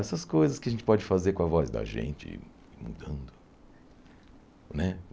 Essas coisas que a gente pode fazer com a voz da gente mudando, né?